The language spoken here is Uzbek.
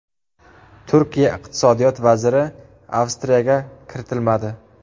Turkiya iqtisodiyot vaziri Avstriyaga kiritilmadi.